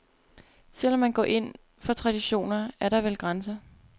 Selv om man går ind for traditioner, er der vel grænser.